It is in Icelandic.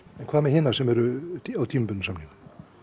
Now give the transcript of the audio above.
hvað með hina sem eru á tímabundnum samningum